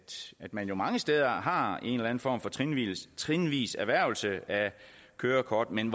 at man mange steder har en eller en form for trinvis trinvis erhvervelse af kørekort men